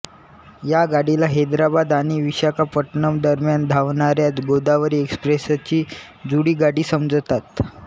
या गाडीला हैदराबाद आणि विशाखापट्टणम दरम्यान धावणाऱ्या गोदावरी एक्सप्रेसची जुळी गाडी समजतात